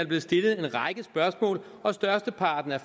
blevet stillet en række spørgsmål og størsteparten af